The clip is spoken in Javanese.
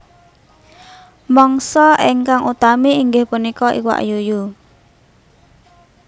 Mangsa ingkang utami inggih punika iwak yuyu